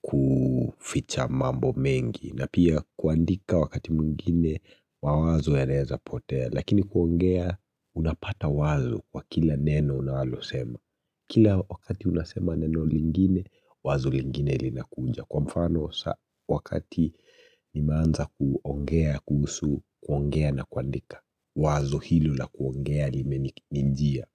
kuficha mambo mengi na pia kuandika wakati mwingine mawazo yanaeza potea. Lakini kuongea unapata wazo kwa kila neno unalosema Kila wakati unasema neno lingine wazo lingine linakuja Kwa mfano wakati nimeanza kuongea kuhusu kuongea na kuandika Wazo hilo la kuongea limenijia.